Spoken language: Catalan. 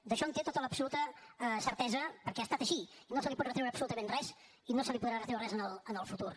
d’això en té tota l’absoluta certesa perquè ha estat així i no se li pot retreure absolutament res i no se li podrà retreure res en el futur